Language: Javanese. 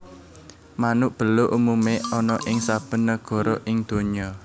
Manuk Beluk umume ana ing saben nagara ing donya